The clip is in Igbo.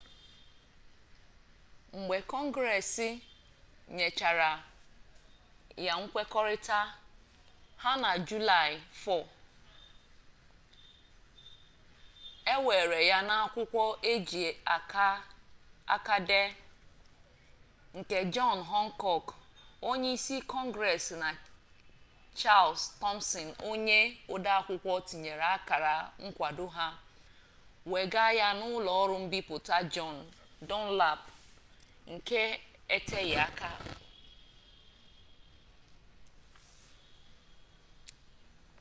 mgbe kọngres nyechara ya nkwekọrịta ha na julaị 4 e weere ya n'akwụkwọ eji aka dee nke jọn hankọk onye isi kọngres na chals tọmsin onye odeakwụkwọ tinyere akara nkwado ha wega ya n'ụlọ mbipụta jọn dunlap nke eteghi aka